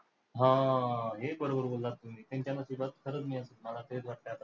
हा, हे बरोबर बोललात तुम्ही, त्यांच्या नशिबात खरंच मला तेच वाटतंय आता.